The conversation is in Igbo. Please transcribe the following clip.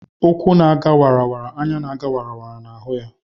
ukwu na a ga wara, anya na aga wara na hu ya.